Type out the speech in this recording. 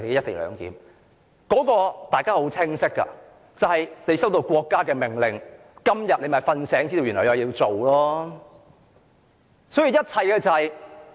大家都很清楚，政府是收到國家的命令，"睡醒"了便知道今天原來有事情要做。